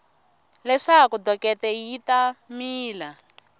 leswaku dokete yi ta mila